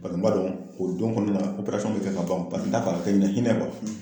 Bari n b'a don o don kɔnɔna bɛ kɛ ka ban n t'a fɛ a kɛ ɲɛna hinɛ